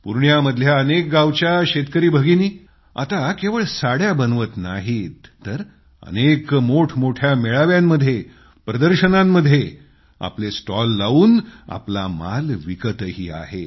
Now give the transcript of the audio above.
पूर्णियामधल्या अनेक गावच्या शेतकरी दीदी आता केवळ साड्या बनवत नाही तर अनेक मोठमोठ्या मेळाव्यांमध्ये प्रदर्शनांमध्ये आपले स्टॉल लावून आपला मालही विकत आहेत